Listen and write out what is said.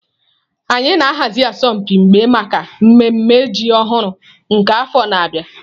Anyị na-ahazi asọmpi mgba maka mmemme ji ọhụrụ nke afọ na-abịa.